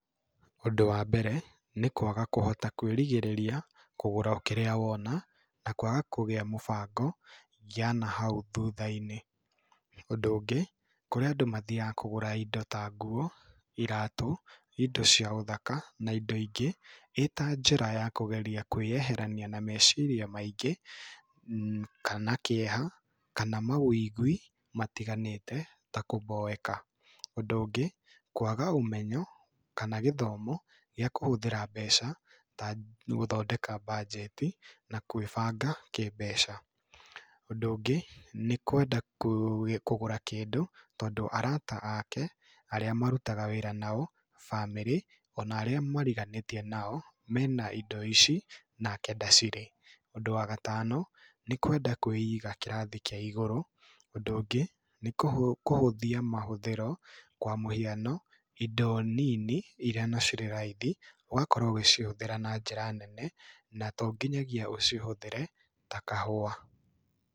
Ũndũ wa mbere, nĩkwaga kũhota kũĩrigĩrĩria kũgũra o kĩrĩa wona, na kwaga kũgĩa mũbango yanahau thutha-inĩ. Ũndũ ũngĩ, kũrĩ andũ mathiaga kũgũra indo tanguo, iratũ, indo cia ũthaka, na indo ingĩ, ĩtanjĩra ya kũgeria kũĩyeherania na meciria maingĩ, kana kĩeha, kana maũigui matiganĩte, takũmboeka. Ũndũ ũngĩ, kwaga ũmenyo, kana gĩthomo, gĩa kũhũthĩra mbeca, takwaga mbanjeti, na gũĩbanga kĩmbeca. Ũndũ ũngĩ nĩkwenda kũgũra kĩndũ, tondũ arata ake, arĩa marutaga wĩra nao, bamĩrĩ, ona arĩa mariganĩtie nao, mena indo ici, nake ndacirĩ. Ũndũ wa gatano nĩkwenda kũiga kĩrathi kĩa igũrũ. Ũndũ ũngĩ nĩ kũhũthia mahũthĩro, kwa mũhiano, indo nini iria irĩ raithi, ũgakorwo ũgĩcihũthĩra na njĩra nene, na tonginyagia ũcihũthĩre, kahũwa.